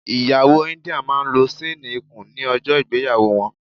Ìyàwó India máa lo ṣéénì ikùn ní ọjọ́ ìgbéyàwó wọn.